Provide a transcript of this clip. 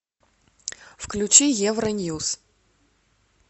включи евроньюс